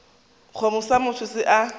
kgomo sa motho se a